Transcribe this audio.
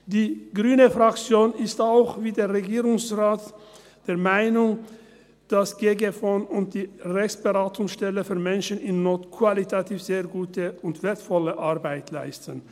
Die Fraktion Grüne ist auch wie der Regierungsrat der Meinung, dass das «gggfon» und die Rechtsberatungsstelle für Menschen in Not qualitativ sehr gute und wertvolle Arbeit leisten.